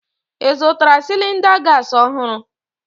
Ị zụtara cylinder gas ọhụrụ?